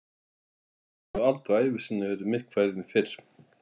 Hann hafði aldrei á ævi sinni verið myrkfælinn fyrr.